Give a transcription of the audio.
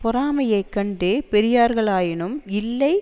பொறாமையைக் கொண்டு பெரியார்களாயினாரும் இல்லை